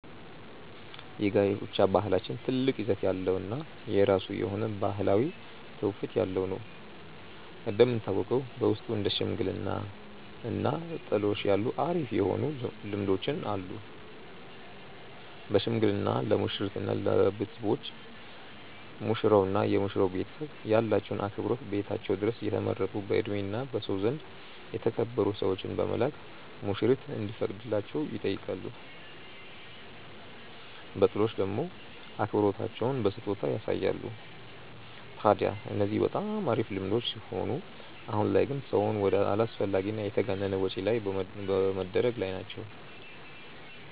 የጋብቻ ባህላችን ትልቅ ይዘት ያለው እና የራሱ የሆነ ባህላዊ ትውፊት ያለው ነው። እንደሚታወቀው በውስጡ እንደ ሽምግልና እና ጥሎሽ ያሉ አሪፍ የሆኑ ልምዶች አሉን። በሽምግልና ለሙሽሪት እና ለቤተሰቦች፤ ሙሽራው እና የመሽራው ቤተሰብ ያላቸውን አክብሮት ቤታቸው ድረስ የተመረጡ በእድሜ እና በሰው ዘንድ የተከበሩ ሰዎችን በመላክ ሙሽሪት እንዲፈቀድላቸው ይጠይቃሉ። በጥሎሽ ደሞ አክብሮታቸውን በስጦታ ያሳያሉ። ታድያ እነዚህ በጣም አሪፍ ልምዶች ሲሆኑ አሁን ላይ ግን ሰውን ወደ አላስፈላጊ እና የተጋነነ ወጪ ላይ በመደረግ ላይ ናቸው።